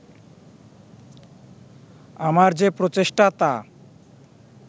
আমার যে প্রচেষ্টা তা